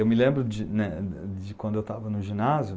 Eu me lembro de quando eu estava no ginásio,